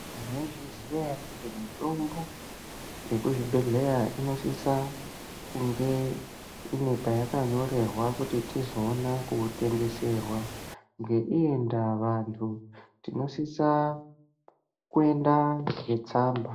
Mwaizviziya ere kuti Mitombo yemuzvibhehleya inosisa kunge ine payakanyorerwa kuti tizoona kuitengeserwa ngeiyi ndaa vantu tinosisa kuenda netsamba .